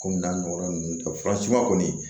Kɔmi n'a ɲɔgɔnna ninnu tɛ fura si ma kɔni